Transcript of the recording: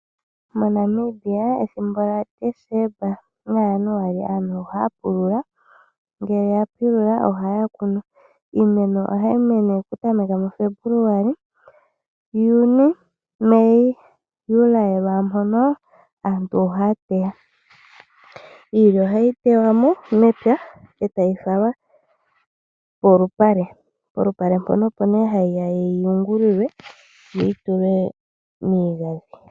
MoNamibia ethimbo lya Desemba na Januali aantu ohaya pulula etaya kunu. Iimeno ohayi mene okutameka mu Febuluali. Juni, Meyi, Juli lwaampono aantu ohaya teya. Iilya ohayi tewa mo mepya etayi falwa polupale mpono hayi yungulilwa etayi tulwa miigadhi.